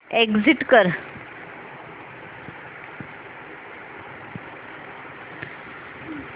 exit कर